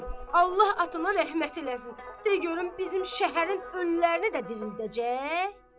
Allah atana rəhmət eləsin, de görüm, bizim şəhərin ölülərini də dirildəcək?